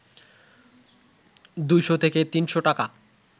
২শ’ থেকে ৩শ’ টাকা